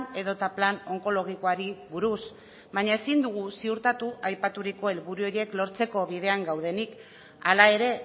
edota plan onkologikoari buruz baina ezin dugu ziurtatu aipaturiko helburu horiek lortzeko bidean gaudenik hala ere